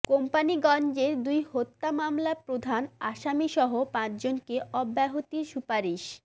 কোম্পানীগঞ্জের দুই হত্যা মামলা প্রধান আসামিসহ পাঁচজনকে অব্যাহতির সুপারিশ